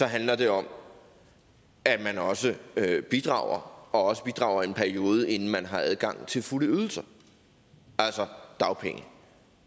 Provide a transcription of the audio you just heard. handler det om at man også bidrager og også bidrager i en periode inden man har adgang til fulde ydelser altså dagpenge